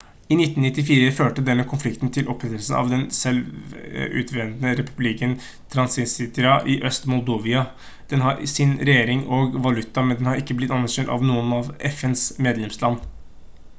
i 1994 førte denne konflikten til opprettelsen av den selvutnevnte republikken transnistria i øst-moldova den har sin egen regjering og valuta men den har ikke blitt anerkjent av noen av fns medlemsland